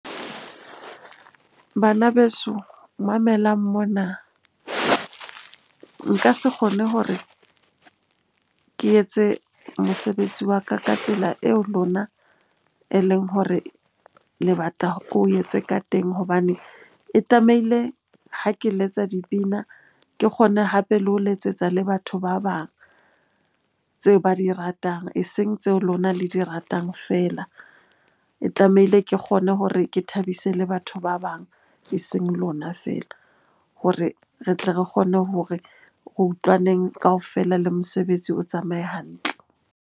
Bana beso mamelang mona. Nka se kgone hore ke etse mosebetsi wa ka ka tsela eo lona e leng hore le batla ko etse ka teng. Hobane e tlamehile ha ke letsa dipina, ke kgone hape le ho letsetsa le batho ba bang tseo ba di ratang eseng tseo lona le di ratang feela. E tlamehile ke kgone hore ke thabise le batho ba bang, eseng lona feela hore re tle re kgone hore re utlwaneng kaofela le mosebetsi o tsamaye hantle.